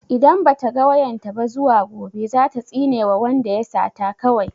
Idan ba ta ga wayan ta ba zuwa gobe za ta tsinewa wanda ya sata kawai.